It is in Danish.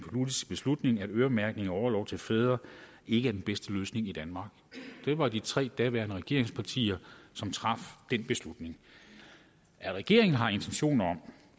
beslutning at øremærkning af orlov til fædre ikke er den bedste løsning i danmark det var de tre regeringspartier som traf den beslutning regeringen har intentioner om